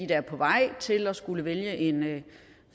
der er på vej til at skulle vælge en